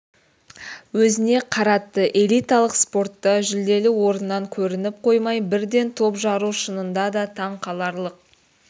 өзіне қаратты элиталық спортта жүлделі орыннан көрініп қоймай бірден топ жару шынында да таң қаларлық